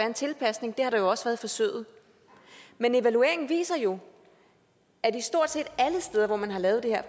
en tilpasning og det har der jo også været i forsøget men evalueringen viser jo at stort set alle steder hvor man har lavet det her